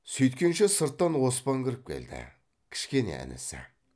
сөйткенше сырттан оспан кіріп келді кішкене інісі